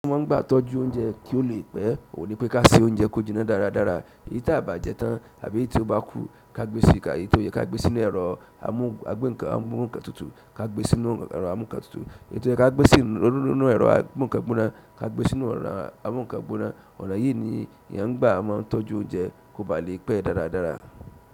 Wọ́n ń gbà tọ́jú oúnjẹ kí ó lè pẹ́, ò ní pé ká ṣe oúnjẹ kí ó jiná dáradára, èyí tí a ò bá jẹ tán àbí èyí tí ó bá kú ká gbé sí i, èyí tó yẹ ká gbé sínú ẹ̀rọ amúǹkan tutù ká gbé sínú ẹ̀rọ amúǹkan tutù, èyí tó yẹ ká gbé sínú ẹ̀rọ amúǹkan gbóná ká gbé sínú ẹ̀rọ amúǹkan gbóná. Ọ̀nà yìí ni eyán ń gbà máa ń tọ́jú oúnjẹ kó ba lè pẹ́ dáradára.